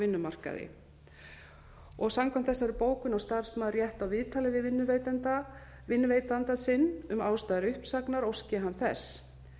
á vinnumarkaði samkvæmt þessari bókun á starfsmaður rétt á viðtali við vinnuveitanda sinn um ástæður uppsagnar óski hann þess